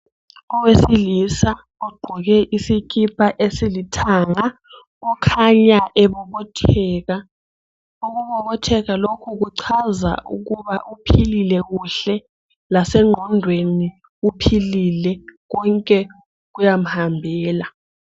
Owesilisa ogqoke isikipa esilithanga ukhanya ebobotheka, ukubobotheka lokhu kuchaza ukuba uphilile kuhle lasengqondweni uphilile konke kuyamhambela.